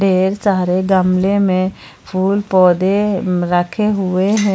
ढेर सारे गमले में फूल पौधे रखे हुए हैं।